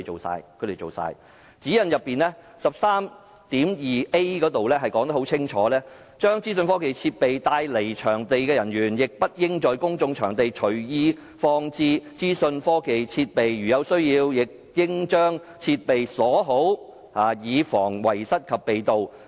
上述指引第 13.2a 條很清楚訂明，"將資訊科技設備帶離場地的人員亦不應在公眾場所隨意放置資訊科技設備。如有需要，亦應將設備鎖好，以防遺失及被盜。